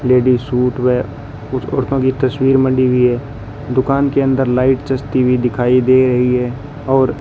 ladies suit वै कुछ औरतों की तस्वीर मढ़ी हुई है दुकान के अंदर लाइट जंचती हुई दिखाई दे रही है और--